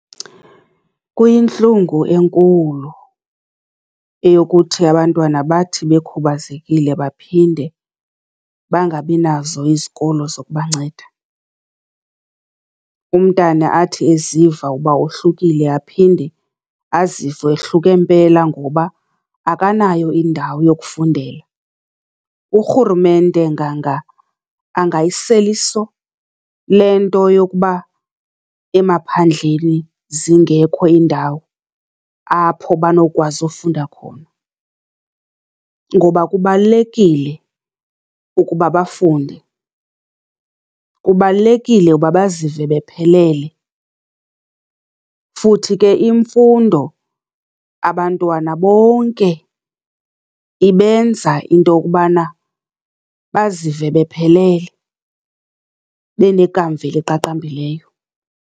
Kuyintlungu enkulu eyokuthi abantwana bathi bekhubazekile baphinde bangabinazo izikolo zokubanceda. Umntana athi eziva uba wohlukile aphinde azive ehluke mpela ngoba akanayo indawo yokufundela. Urhurumente nganga angayisela iso le nto yokuba emaphandleni zingekho iindawo apho banokwazi ufunda khona, ngoba kubalulekile ukuba bafunde, kubalulekile uba bazive bephelele. Futhi ke imfundo, abantwana bonke ibenza into yokubana bazive bephelele, benekamva eliqaqambileyo.